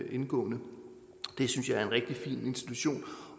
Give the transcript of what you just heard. indgående det synes jeg er en rigtig fin institution